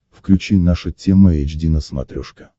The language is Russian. включи наша тема эйч ди на смотрешке